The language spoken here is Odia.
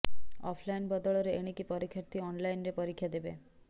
ଅଫ୍ ଲାଇନ୍ ବଦଳରେ ଏଣିକି ପରୀକ୍ଷାର୍ଥି ଅନ୍ଲାଇନ୍ରେ ପରୀକ୍ଷା ଦେବେ